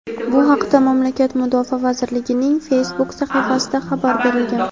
Bu haqda mamlakat Mudofaa vazirligining Facebook sahifasida xabar berilgan.